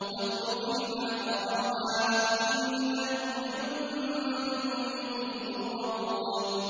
وَاتْرُكِ الْبَحْرَ رَهْوًا ۖ إِنَّهُمْ جُندٌ مُّغْرَقُونَ